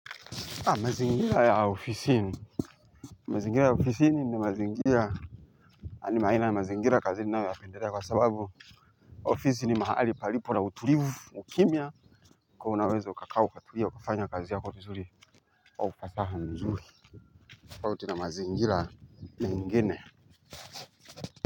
Mazingira ya ofisini mazingira ya ofisini ni mazingira. Ani maina ya mazingira kazi ni nayoypenderea kwa sababu ofisi ni mahali palipo na utulivu, ukimya. Kwa unaweza ukakaa, ukatulia, ukafanya kazi yako vizuri. Kwa upataha mzuri. Kwa hiyo tuna mazingira ingine.